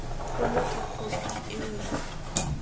kgolo ke khophi eo ya